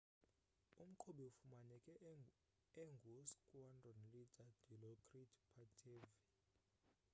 umqhubi ufumaneke engu squandron leader dilokrit pattavee